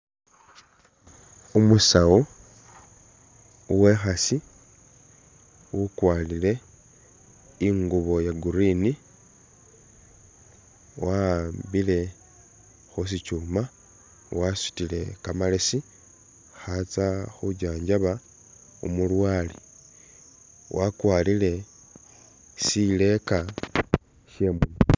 Umusawu uwekhasi ukwarile ingubo iya'green wa'ambile khusitsuma, wasutile kamalesi khatsa khunjanjaba umulwale wakwarile sileka she'munua